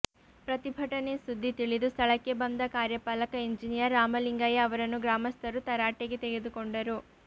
ಪ್ರತಿಭಟನೆ ಸುದ್ದಿ ತಿಳಿದು ಸ್ಥಳಕ್ಕೆ ಬಂದ ಕಾರ್ಯಪಾಲಕ ಎಂಜಿನಿಯರ್ ರಾಮಲಿಂಗಯ್ಯ ಅವರನ್ನು ಗ್ರಾಮಸ್ಥರು ತರಾಟೆಗೆ ತೆಗೆದುಕೊಂಡರು